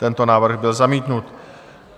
Tento návrh byl zamítnut.